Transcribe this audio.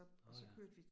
Nåh ja